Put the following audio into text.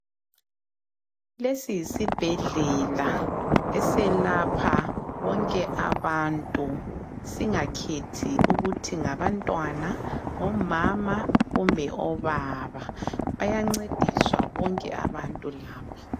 Lesi yisibhedlela eselapha bonke abantu, singakhethi ukuthi ngabantwana, omama kumbe obaba. Bayancediswa bonke abantu lapha.